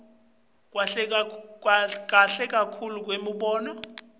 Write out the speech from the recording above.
kahle kakhulu kwemibono